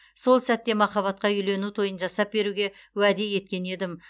сол сәтте махаббатқа үйлену тойын жасап беруге уәде еткен едім